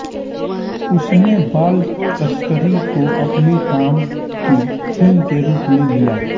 उसने बाल तस्करी को अपने काम की थीम के रूप में लिया